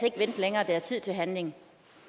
ikke vente længere det er tid til handling